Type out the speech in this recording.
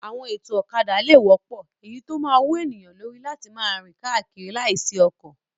Àwọn ètò ọ̀kadà lè wọ́pọ̀, èyí tó máa wú ènìyàn lórí láti máa rìn káàkiri láìsí ọkọ̀.